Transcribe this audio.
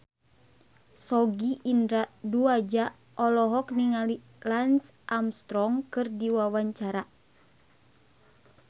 Sogi Indra Duaja olohok ningali Lance Armstrong keur diwawancara